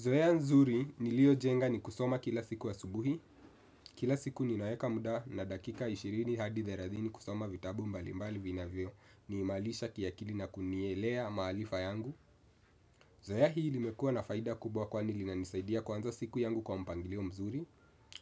Zoea nzuri niliyojenga ni kusoma kila siku asubuhi, kila siku ninaeka muda na dakika ishirini hadi thelathini kusoma vitabu mbalimbali vinavyoniimarisha kiakili na kunielea maarifa yangu. Zoea hii limekua na faida kubwa kwani linanisaidia kuanza siku yangu kwa mpangilio mzuri,